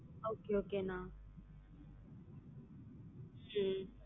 Okay okay அண்ணா உம்